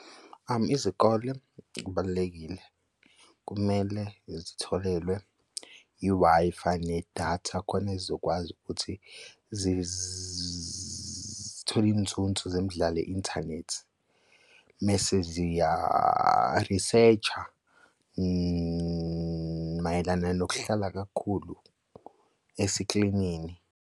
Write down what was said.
Izikole kubalulekile kumele zitholelwe i-Wi-Fi nedatha khona zizokwazi ukuthi zithole inzunzo zemidlalo i-inthanethi mese ziya-research-a mayelana nokuhlala kakhulu esikrinini.